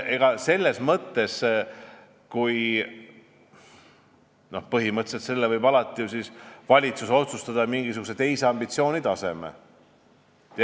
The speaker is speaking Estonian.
Põhimõtteliselt võib valitsus alati otsustada mingisuguse teise ambitsiooni ja taseme kasuks.